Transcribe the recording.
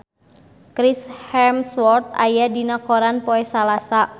Chris Hemsworth aya dina koran poe Salasa